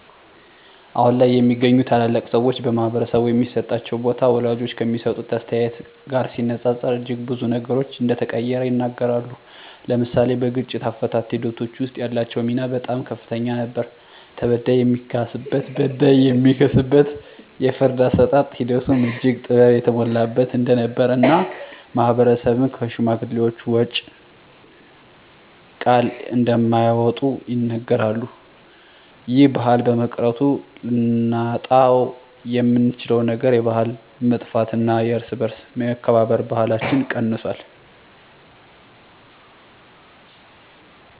አሁን ላይ የሚገኙ ታላላቅ ሰወች በማህበረሰቡ የሚሰጣቸው ቦታ ወላጆች ከሚሰጡት አስተያየት ጋር ሲነፃፀር እጅግ ብዙ ነገሮች እንደተቀየረ ይናገራሉ። ለምሳሌ በግጭት አፈታት ሒደቶች ወስጥ ያላቸው ሚና በጣም ከፍተኛ ነበር ተበዳይ የሚካስበት በዳይ የሚክስበት የፍርድ አሰጣጥ ሒደቱም እጅግ ጥበብ የተሞላበት እንደነበር እና ማህበረሰብም ከሽማግሌወች ቃል እንደማይወጡ ይናገራሉ። ይህ ባህል በመቅረቱ ልናጣውየምንችለው ነገር የባህል መጥፍት እና የእርስ በእርስ የመከባበር ባህለች ቀንሶል።